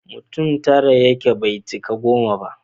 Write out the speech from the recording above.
mutum tara yake bai cika goma ba